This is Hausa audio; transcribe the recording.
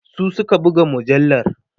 su Suka buga mujallar